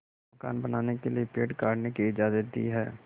मकान बनाने के लिए पेड़ काटने की इजाज़त दी है